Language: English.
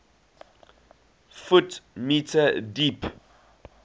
ft m deep